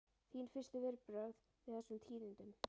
Þín fyrstu viðbrögð við þessum tíðindum?